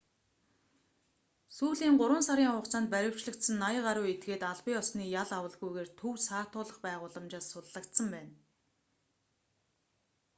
сүүлийн 3 сарын хугацаанд баривчлагдсан 80 гаруй этгээд албан ёсны ял авалгүйгээр төв саатуулах байгууламжаас суллагдсан байна